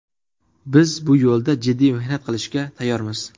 Biz bu yo‘lda jiddiy mehnat qilishga tayyormiz.